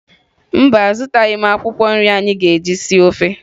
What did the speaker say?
Mba, azụtaghị m akwụkwọ nri anyị ga-eji sie ofe